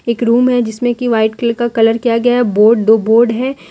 एक रूम है जिसमें की व्हाइट कलर का कलर किया गया है बोर्ड दो बोर्ड है।